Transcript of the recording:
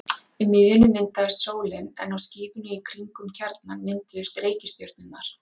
Í miðjunni myndaðist sólin en á skífunni í kring um kjarnann mynduðust reikistjörnurnar.